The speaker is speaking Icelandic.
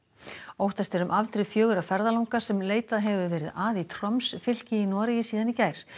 óttast er um afdrif fjögurra ferðalanga sem leitað hefur verið að í fylki í Noregi síðan í gær